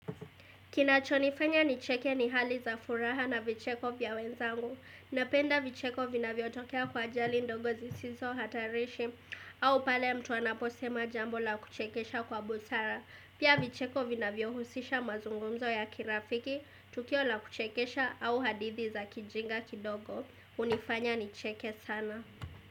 Kinachonifanya nicheke ni hali za furaha na vicheko vya wenzangu. Napenda vicheko vinavyo tokea kwa ajali ndogo sisizo hatarishi. Au pale mtu anaposema jambo la kuchekesha kwa busara. Pia vicheko vinavyohusisha mazungumzo ya kirafiki. Tukio la kuchekesha au hadithi za kijinga kidogo. Unifanya ni cheke sana.